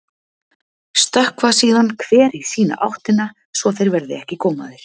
Stökkva síðan hver í sína áttina svo þeir verði ekki gómaðir.